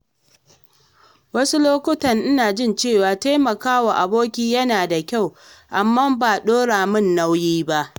Wasu lokuta ina jin cewa taimaka wa aboki yana da kyau, amma ba ɗora mun nauyi ba.